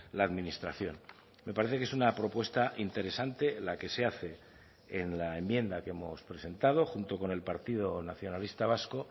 la administración me parece que es una propuesta interesante la que se hace en la enmienda que hemos presentado junto con el partido nacionalista vasco